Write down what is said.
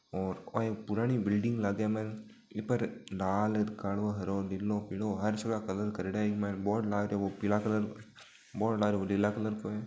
और ओ एक पुराणी बिलिंग लागे मन ई पर लाल कालो हरो नीलो पिलो हर जगा कलर करियोडा इक मायन बोर्ड लाग रियो है वो पिला कलर को बोर्ड लाग रियो है वो नीला कलर काे है।